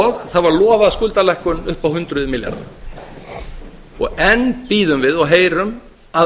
og það var lofað skuldalækkun upp á hundruð milljarða enn bíðum við og heyrum að